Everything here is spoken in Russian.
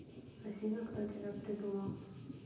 афина кто тебя придумал